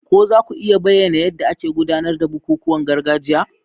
Ko za ku iya bayyana yadda ake gudanar da bukukuwan gargajiya?